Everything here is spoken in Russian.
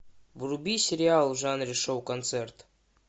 вруби сериал в жанре шоу концерт